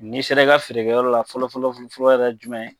N'i ser'i ka feerekɛyɔrɔ la fɔlɔ fɔlɔ fɔlɔ yɛrɛ ye jumɛn ye?